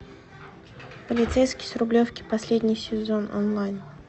полицейский с рублевки последний сезон онлайн